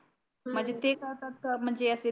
म्हणजे ते करतता का म्हणजे असे